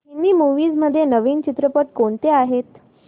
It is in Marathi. हिंदी मूवीझ मध्ये नवीन चित्रपट कोणते आहेत